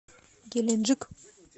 геленджик